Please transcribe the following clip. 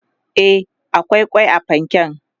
e akwai kwai a fanken